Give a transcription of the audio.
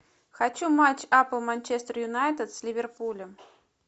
хочу матч апл манчестер юнайтед с ливерпулем